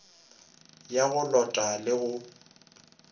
ya go lota le go